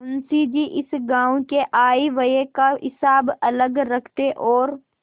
मुंशी जी इस गॉँव के आयव्यय का हिसाब अलग रखते और